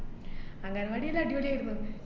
അംഗൻവാടി എല്ലാം അടിപൊളി ആയിരുന്നു.